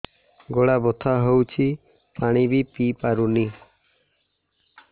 ଗଳା ବଥା ହଉଚି ପାଣି ବି ପିଇ ପାରୁନି